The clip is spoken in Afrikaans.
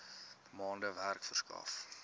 maande werk verskaf